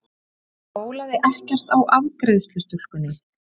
Það bólaði ekkert á afgreiðslustúlkunni.